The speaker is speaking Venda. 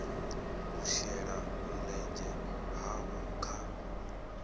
u shela mulenzhe havho kha